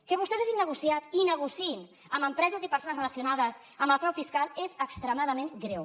que vostès hagin negociat i negociïn amb empreses i persones relacionades amb el frau fiscal és extremadament greu